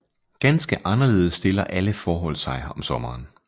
Ganske anderledes stiller alle forhold sig om sommeren